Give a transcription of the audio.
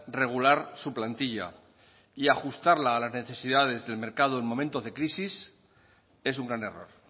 regular su plantilla y ajustarla a las necesidades del mercado en momentos de crisis es un gran error